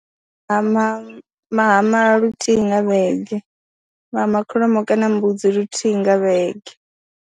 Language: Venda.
Vha hama, vha hama luthihi nga vhege, vha hama kholomo kana mbudzi luthihi nga vhege.